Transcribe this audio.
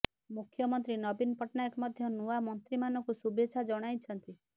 ମୁଖ୍ୟମନ୍ତ୍ରୀ ନବୀନ ପଟ୍ଟନାୟକ ମଧ୍ୟ ନୂଆ ମନ୍ତ୍ରୀମାନଙ୍କୁ ଶୁଭେଚ୍ଛା ଜଣାଇଛନ୍ତି